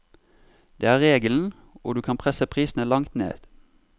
Det er regelen, og du kan presse prisene langt ned.